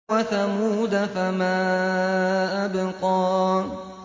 وَثَمُودَ فَمَا أَبْقَىٰ